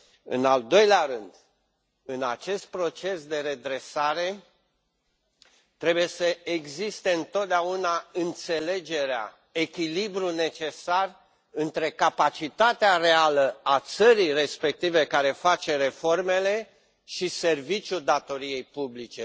În al doilea rând, în acest proces de redresare, trebuie să existe întotdeauna înțelegerea, echilibrul necesar între capacitatea reală a țării respective care face reformele și serviciul datoriei publice.